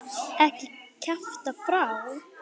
Ekki kjafta frá.